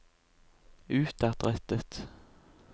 utadrettet